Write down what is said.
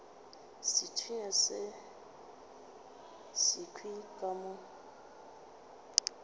sethunya se sekhwi ka mo